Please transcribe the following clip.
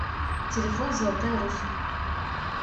телефон золотая русь